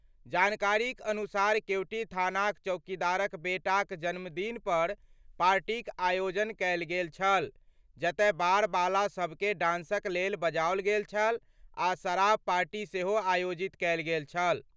जानकारीक अनुसार केवटी थानाक चौकीदारक बेटाक जन्मदिन पर पार्टीक आयोजन केल गेल छल, जतय बार बाला सभ कें डांसक लेल बजाओल गेल छल आ शराब पार्टी सेहो आयोजित कयल गेल छल।